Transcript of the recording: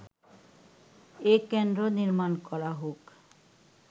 এ কেন্দ্র নির্মাণ করা হোক”